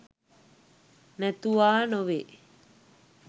නැතුවා නොවේ.